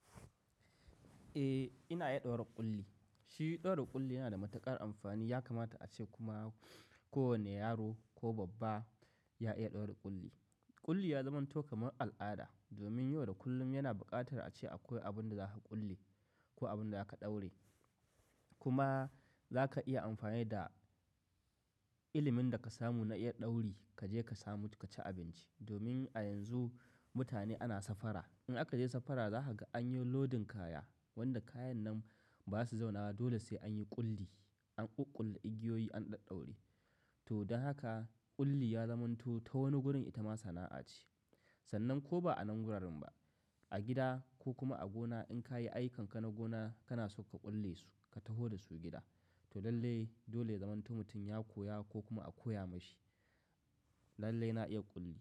Eh, ina iya ɗaura ƙulli. Shi ɗaura ƙulli yana da matuƙar amfani. Ya kamata ace kuma kowane yaro ko babba ya iya ɗaura ƙulli. Ƙulli ya zamanto kamar al'ada domin yau da kullum yana buƙatar ace akwai abin da zaka ƙulle ko abin da za ka ɗaure. Kuma za ka iya amfani da ilimin da ka samu na iya ɗauri ka je ka samu ka ci abinci. Domin a yanzu mutane ana safara. In aka je safara za ka ga an yi lodin kaya, wanda kayan nan baza su zauna ba dole sai an yi ƙulli. An ƙuƙkulle igiyoyi an ɗaɗaure. To don haka ƙulli ya zamanto ta wani gurin ita ma sana'a ce. Sannan ko ba a nan wuraren ba, a gida ko kuma a gona in ka yi aikanka na gona kana so ka ƙulle su ka taho da su gida. To lallai dole zamanto mutum ya koya ko kuma a koya mashi. Lallai na iya ƙulli.